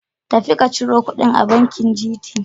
Tafi ka ciro kuɗin a bankin GT.